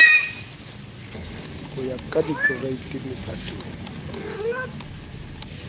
ho ya ka dikereiti mephatong